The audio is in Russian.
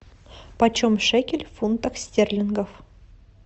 почем шекель в фунтах стерлингов